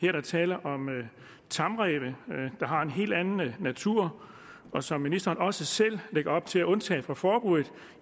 er der tale om tamræve der har en helt anden natur og som ministeren også selv lægger op til at undtage fra forbuddet